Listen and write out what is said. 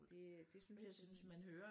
Det det synes jeg